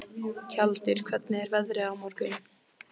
Tjaldur, hvernig er veðrið á morgun?